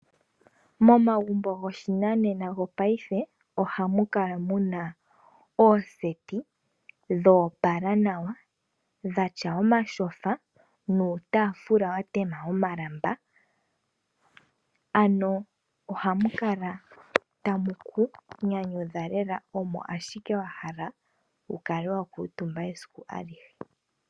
Momagumbo gopashinanena gopaife ohamu kala muna ooseti dhoopala nawa, dhatya omatyofa nuutaafula watema omalamba . Ohamu kala tamu ku nyanyudha lela, ohi kala wahala omo wukale wakuutumba esiku alihe.